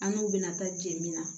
An n'u bɛna taa jeni na